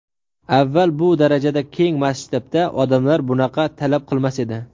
Avval bu darajada keng masshtabda odamlar bunaqa talab qilmas edi.